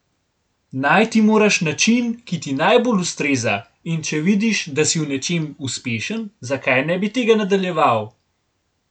Najti moraš način, ki ti najbolj ustreza, in če vidiš, da si v nečem uspešen, zakaj ne bi tega nadaljeval?